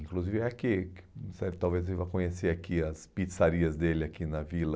Inclusive é aqui, talvez você vá conhecer aqui as pizzarias dele aqui na vila,